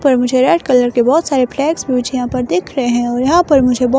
पर मुझे red colour के बहोत सारे फ्लैग्स मुझे यहां पर दिख रहे हैं यहां पर मुझे ब --